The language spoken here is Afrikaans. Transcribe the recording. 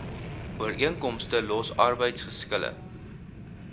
ooreenkomste los arbeidsgeskille